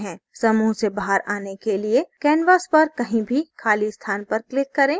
समूह से बाहर आने के लिए canvas पर कहीं भी खाली स्थान पर click करें